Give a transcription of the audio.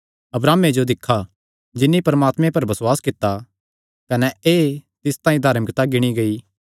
अब्राहमे जो दिक्खा जिन्नी परमात्मे पर बसुआस कित्ता कने एह़ तिस तांई धार्मिकता गिणी गेई